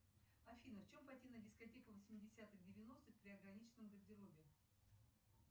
афина в чем пойти на дискотеку восьмидесятых девяностых при ограниченном гардеробе